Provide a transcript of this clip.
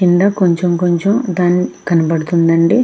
కింద కొంచెం కొంచెం కనబడుతుంది అండి.